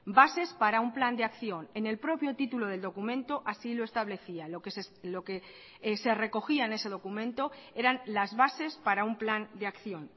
bases para un plan de acción en el propio título del documento así lo establecía lo que se recogía en ese documento eran las bases para un plan de acción